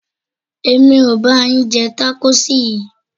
Èmi ò ba yín jẹ tákóòsì yìí.